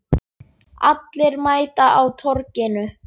Allir mæta á Torginu